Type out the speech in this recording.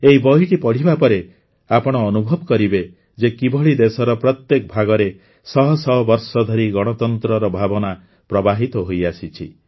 ଏହି ବହିଟି ପଢ଼ିବା ପରେ ଆପଣ ଅନୁଭବ କରିବେ ଯେ କିଭଳି ଦେଶର ପ୍ରତ୍ୟେକ ଭାଗରେ ଶହ ଶହ ବର୍ଷ ଧରି ଗଣତନ୍ତ୍ରର ଭାବନା ପ୍ରବାହିତ ହୋଇଆସିଛି